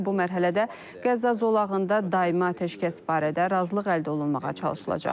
Bu mərhələdə Qəzza zolağında daimi atəşkəs barədə razılıq əldə olunmağa çalışılacaq.